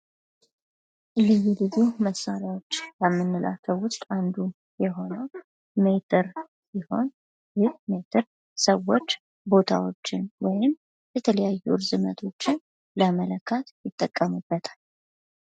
ልዩ ልዩ መሣሪያዎች ከምንላቸው መሳሪያዎች ውስጥ አንዱ የሆነው ሜትር ሲሆን ይህ ሜትር ሰዎች ቦታዎችን ወይም የተለያዩ እርዝመቶችን ለመለካት ይጠቀሙበታል።